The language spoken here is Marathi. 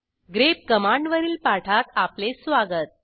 ग्रेप कमांडवरील पाठात आपले स्वागत